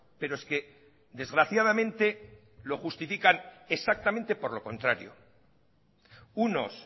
pero es que desgraciadamente lo justifican exactamente por lo contrario unos